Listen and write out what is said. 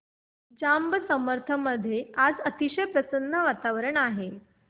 जांब समर्थ मध्ये आज अतिशय प्रसन्न वातावरण आहे